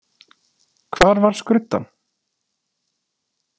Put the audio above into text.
Hvar var skruddan?